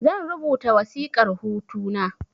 Zan rubuta wasiƙar hutu na